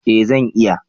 Eh zan iya